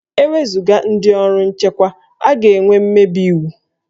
E wezuga ndị ọrụ nchekwa, a ga-enwe mmebi iwu